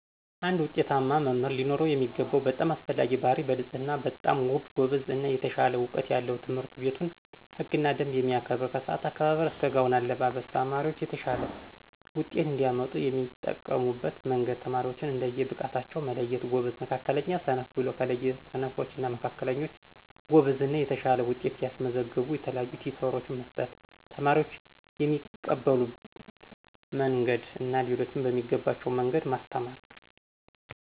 አንድ ውጤታማ መምህር ሊኖረው የሚገባው በጣም አስፈላጊ ባህርይ በንፅህና በጣም ውብ፣ ጎበዝ እና የተሻለ እውቀት ያለው የትምህርትቤቱን ህግና ደንብ የሚያከብር ከስአት አከባበር እስከ ጋውን አለባብስ። ተማሪዎች የተሻለ ውጤት እንዲያመጡ የሚጠቀሙበት መንገድ ተማሪዎችን እንደየ ብቃታቸው መለየት ጎበዝ፣ መካከለኛ፣ ሰነፍ ብሎ ከለየ ስነፎች እና መካከለኞች ጎበዝ እና የተሻለ ውጤት ያስመዘገቡ የተለያዩ ቲቶሮች መስጠት። ተማሪዎች በሚቀበሉት መንግድ እና ሌሎችም በሚገባቸዉ መንገድ ማስተማር።